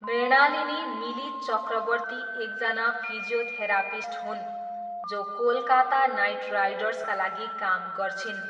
मृणालिनी मिली चक्रवर्ती एकजना फिजियोथेरापिस्ट हुन् जो कोलकाता नाइट राइडर्सका लागि काम गर्छिन्।